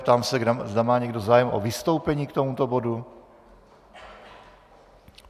Ptám se, zda má někdo zájem o vystoupení k tomuto bodu?